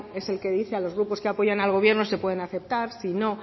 es el que dice a los grupos que apoyan al gobierno si pueden aceptar si no